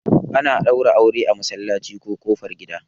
ana daura aure a masallaci ko kofar gida